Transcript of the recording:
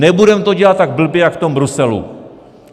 Nebudeme to dělat tak blbě jak v tom Bruselu.